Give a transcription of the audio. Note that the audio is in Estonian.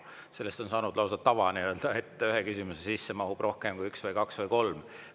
Sellest on saanud lausa tava, et ühe küsimuse sisse mahub rohkem kui üks, kaks või kolm küsimust.